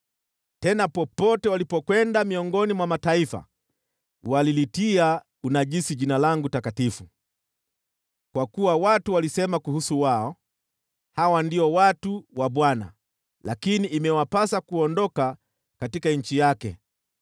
Tena popote walipokwenda miongoni mwa mataifa walilitia unajisi Jina langu takatifu, kwa kuwa watu walisema kuwahusu, ‘Hawa ndio watu wa Bwana , lakini imewapasa kuondoka katika nchi yake.’